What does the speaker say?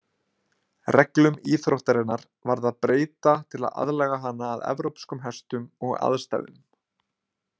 Reglum íþróttarinnar varð að breyta til að aðlaga hana að evrópskum hestum og aðstæðum.